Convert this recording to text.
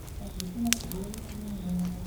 ларису матвеевну клейменову